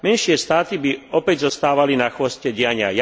Menšie štáty by opäť zostávali na chvoste diania.